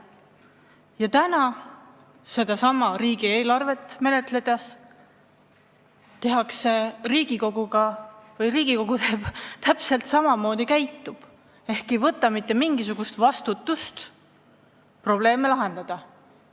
Ja täna seda riigieelarvet menetledes teeb Riigikogu täpselt samamoodi: ta ei võta mitte mingisugust vastutust probleeme lahendada.